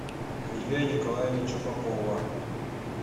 сергея николаевича попова